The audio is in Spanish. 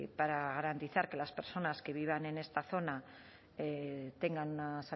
para garantizar que las personas que vivan en esta zona tengan una